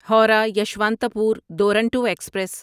Howrah Yesvantpur Duronto express